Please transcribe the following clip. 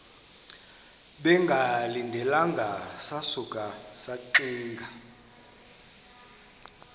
bengalindelanga sasuka saxinga